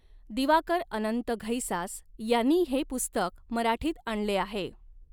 दिवाकर अनंत घैसास यांनी हे पुस्तक मराठीत आणले आहे.